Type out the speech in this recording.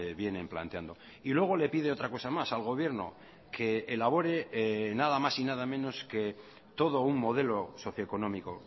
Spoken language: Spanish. vienen planteando y luego le pide otra cosa más al gobierno que elabore nada más y nada menos que todo un modelo socioeconómico